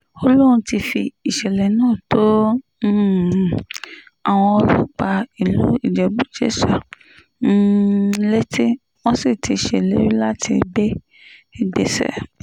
ó lóun ti fi ìṣẹ̀lẹ̀ náà tó um àwọn ọlọ́pàá ìlú ìjẹ́bú-jésà um létí wọ́n sì ti ṣèlérí láti gbé ìgbésẹ̀